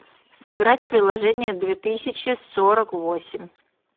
сыграть в приложение две тысячи сорок восемь